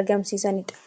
argamsiisanidha.